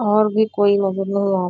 और भी कोई नजर नहीं आ --